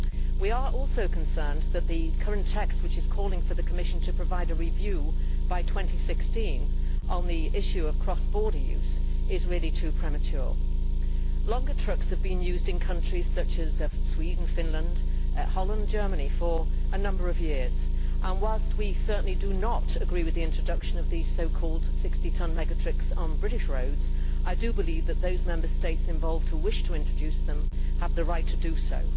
We are also concerned that the current text, which is calling for the Commission to provide a review by 2016 on the issue of cross border use, is really too premature. Longer trucks have been used in countries such as Sweden, Finland, Holland and Germany for a number of years. Whilst we certainly do not agree with the introduction of these so called 60 tonne mega trucks on British roads, I believe that those Member States involved who wish to introduce them have the right to do so.